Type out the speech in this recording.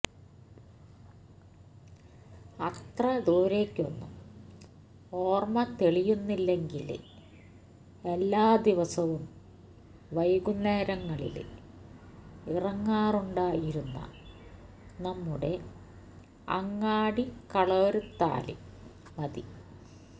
അത്ര ദൂരേയ്ക്കൊന്നും ഓര്മ തെളിയുന്നില്ലെങ്കില് എല്ലാ ദിവസവും വൈകുന്നേരങ്ങളില് ഇറങ്ങാറുണ്ടാ യിരുന്ന നമ്മുടെ അങ്ങാടികളോര്ത്താല് മതി